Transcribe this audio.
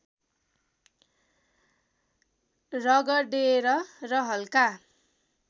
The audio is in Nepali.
रगडेर र हल्का